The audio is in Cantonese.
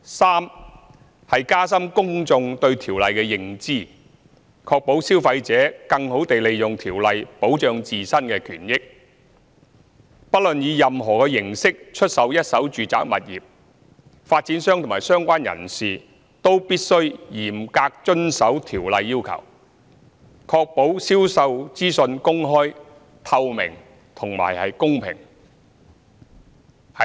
三是加深公眾對《條例》的認知，確保消費者更好地利用《條例》保障自身的權益。不論以任何形式出售一手住宅物業，發展商及相關人士均必須嚴格遵守《條例》要求，確保銷售資訊公開、透明及公平。